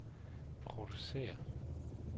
producerer